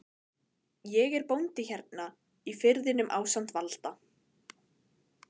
Ég er bóndi hérna í firðinum ásamt Valda